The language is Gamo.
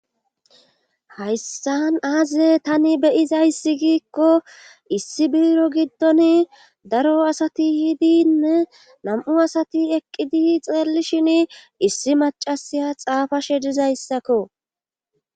Hayssan aaze tani beyizayssi giikko issi biro giddon daro asati hidine nam'u asati eqqidi xeellishin issi macasiya xaafashe dizayssakko